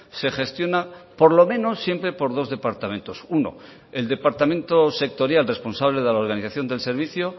se gestiona por lo menos siempre por dos departamentos uno el departamento sectorial responsable de la organización del servicio